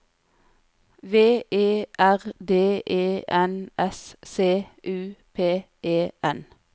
V E R D E N S C U P E N